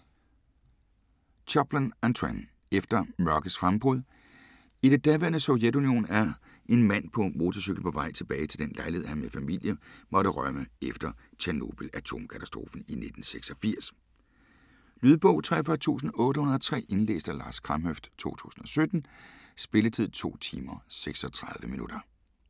Choplin, Antoine: Efter mørkets frembrud I det daværende Sovjetunionen er en mand på motorcykel på vej tilbage til den lejlighed han med familie måtte rømme efter Tjernobyl-atomkatastrofen i 1986. Lydbog 43803 Indlæst af Lars Kramhøft, 2017. Spilletid: 2 timer, 36 minutter.